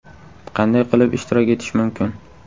Qanday qilib ishtirok etish mumkin?